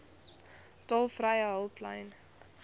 tolvrye hulplyn